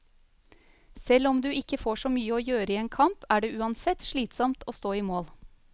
Selv om du ikke får så mye å gjøre i en kamp, er det uansett slitsomt å stå i mål.